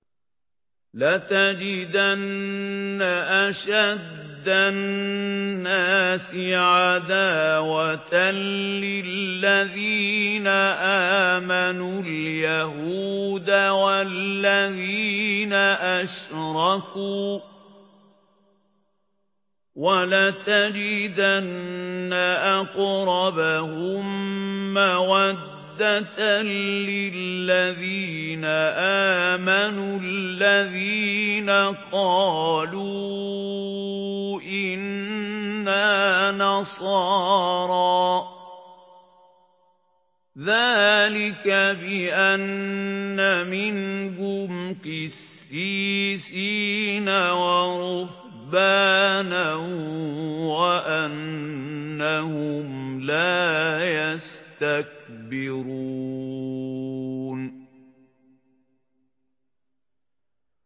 ۞ لَتَجِدَنَّ أَشَدَّ النَّاسِ عَدَاوَةً لِّلَّذِينَ آمَنُوا الْيَهُودَ وَالَّذِينَ أَشْرَكُوا ۖ وَلَتَجِدَنَّ أَقْرَبَهُم مَّوَدَّةً لِّلَّذِينَ آمَنُوا الَّذِينَ قَالُوا إِنَّا نَصَارَىٰ ۚ ذَٰلِكَ بِأَنَّ مِنْهُمْ قِسِّيسِينَ وَرُهْبَانًا وَأَنَّهُمْ لَا يَسْتَكْبِرُونَ